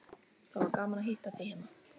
Það var gaman að hitta þig hérna.